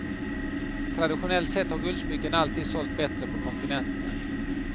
Traditionellt sett har guldsmycken alltid sålt bättre på kontinenten.